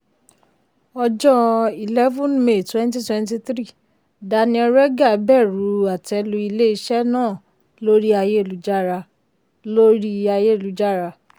ọjọ́ 11 may 2023 daniel regha bẹ̀rù àtẹ́lu ilé-iṣẹ́ náà lórí ayélujára. lórí ayélujára.